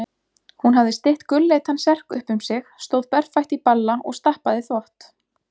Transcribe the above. Hún hafði stytt gulleitan serk upp um sig, stóð berfætt í balla og stappaði þvott.